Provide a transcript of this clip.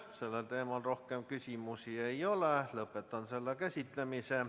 Sellel teemal rohkem küsimusi ei ole, lõpetan selle käsitlemise.